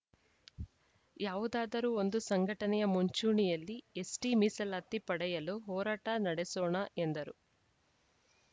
ಯಾವುದಾದರೂ ಒಂದು ಸಂಘಟನೆಯ ಮುಂಚೂಣಿಯಲ್ಲಿ ಎಸ್‌ಟಿ ಮೀಸಲಾತಿ ಪಡೆಯಲು ಹೋರಾಟ ನಡೆಸೋಣ ಎಂದರು